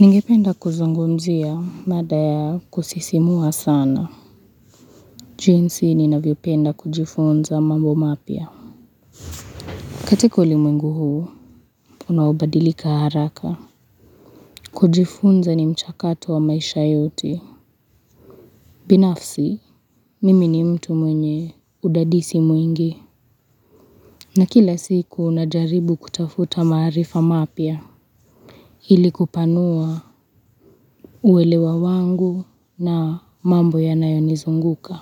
Ningependa kuzungumzia mada ya kusisimua sana. Jinsi ninavyo penda kujifunza mambo mapya. Katika ulimwengu huu, unaobadilika haraka. Kujifunza ni mchakato wa maisha yote. Binafsi, mimi ni mtu mwenye udadisi mwingi. Na kila siku unajaribu kutafuta maarifa mapya. Hili kupanua uwelewa wangu na mambo yanayonizunguka.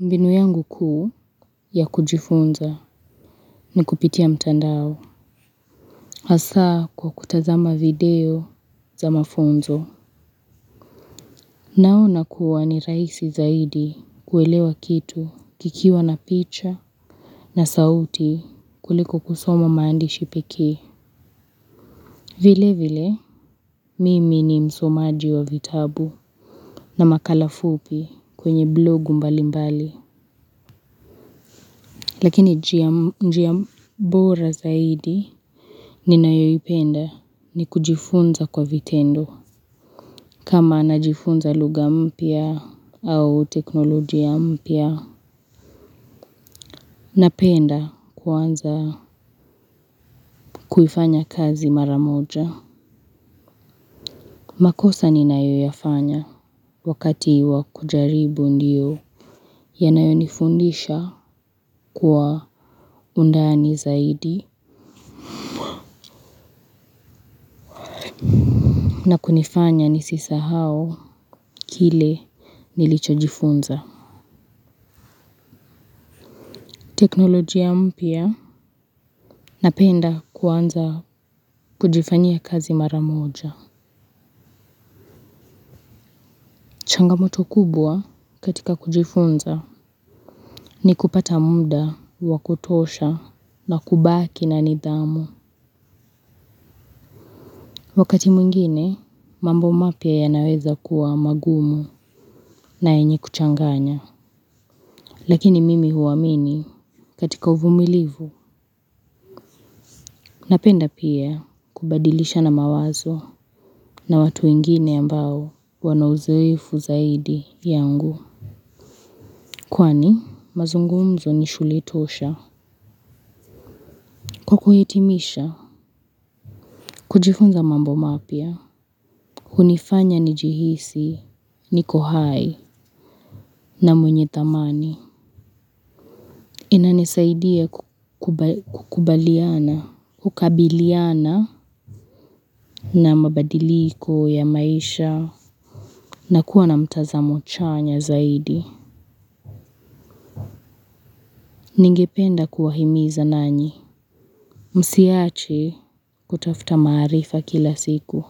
Mbinu yangu kuu ya kujifunza ni kupitia mtandao. Asaa kwa kutazama video za mafunzo. Naona kuwa ni rahisi zaidi kuelewa kitu kikiwa na picha na sauti kuliko kusoma maandishi pekee. Vile vile mimi ni msomaji wa vitabu na makala fupi kwenye blogu mbali mbali. Lakini njia bora zaidi ni nayoyipenda ni kujifunza kwa vitendo. Kama najifunza luga mpya au teknolojia mpya. Napenda kuwanza kuifanya kazi mara moja. Makosa ninayoyafanya wakati wa kujaribu ndiyo yanayo nifundisha kwa undani zaidi. Na kunifanya ni sisahau kile nilicho jifunza. Teknolojia mpya napenda kuanza kujifanyia kazi mara moja. Changamoto kubwa katika kujifunza ni kupata muda wa kutosha na kubaki na nidhamu. Wakati mwingine mambo mapya ya naweza kuwa magumu na yenye kuchanganya. Lakini mimi huamini katika uvumilivu. Napenda pia kubadilishana mawazo na watu wengine ambao wana uzoefu zaidi yangu. Kwani mazungumzo ni shule tosha. Kwa kuhitimisha, kujifunza mambo mapya. Hunifanya nijihisi, niko hai na mwenye thamani. Inanisaidia kukubaliana, kukabiliana na mabadiliko ya maisha na kuwa na mtazamo chanya zaidi. Ningependa kuwahimiza nanyi. Msiache kutafuta maarifa kila siku.